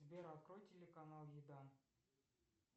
сбер открой телеканал еда